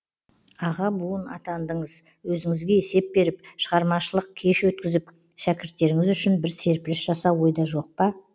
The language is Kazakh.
аға буын атандыңыз өзіңізге есеп беріп шығармашылық кеш өткізіп шәкірттеріңіз үшін бір серпіліс жасау ойда жоқ па